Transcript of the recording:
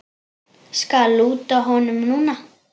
Skal lúta honum núna.